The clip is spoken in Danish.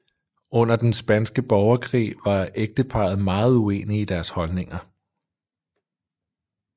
Under den Spanske Borgerkrig var ægteparret meget uenige i deres holdninger